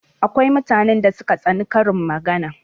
Akwai mutanen da suka tsani karin magana